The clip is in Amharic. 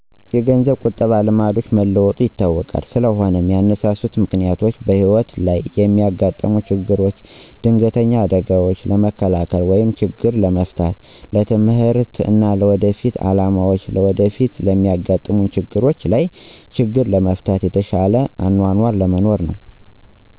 የገንዘብ ቁጠበ ልማዶች መለወጡ ይታወቃል ስለሆነም ያነሳሱት ምክንያቶችም በህይወት ለይ የሚያጋጥሙ ችግሮች ድንገተኛ አደጋዎችን ለመከላከል ወይም ችግር ለመፍታት፣ ለትምህርት እና ለወደፊት አላማዎች፣ ለወደፊት ለሚያጋጥሙ ችግሮች ለይ ችግር ለመፍታት፣ የተሸለ አኗኗር ለመኖር ነው